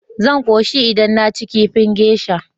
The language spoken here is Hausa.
Zan koshi idan naci kifi geisha.